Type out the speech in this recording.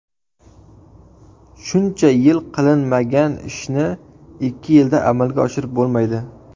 Shuncha yil qilinmagan ishni ikki yilda amalga oshirib bo‘lmaydi.